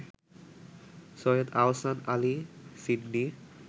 Syed Ahsan Ali Sydney